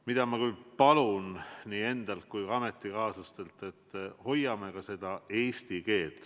Mida ma küll palun nii endalt kui ka ametikaaslastelt, on see, et hoiame eesti keelt.